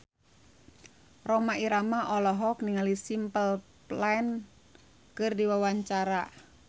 Rhoma Irama olohok ningali Simple Plan keur diwawancara